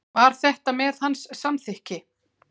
Var þetta með hans samþykki?